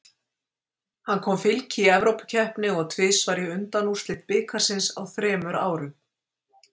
Hann kom Fylki í evrópukeppni og tvisvar í undanúrslit bikarsins á þremur árum??